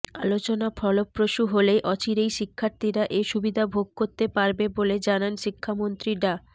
আলোচনা ফলপ্রসূ হলে অচিরেই শিক্ষার্থীরা এ সুবিধা ভোগ করতে পারবে বলে জানান শিক্ষামন্ত্রী ডা